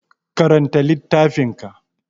Karanta littafin ka!